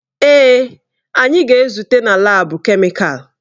Èè, anyị ga-ezute na laabu kemịkalụ.